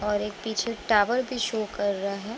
और एक पीछे टावर भी शो कर रहा है |